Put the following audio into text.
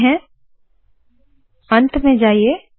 यहाँ जाते है अंत में जाइए